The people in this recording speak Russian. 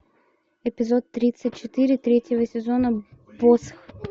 эпизод тридцать четыре третьего сезона босх